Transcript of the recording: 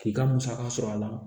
K'i ka musaka sɔrɔ a la